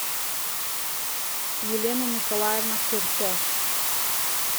елена николаевна курто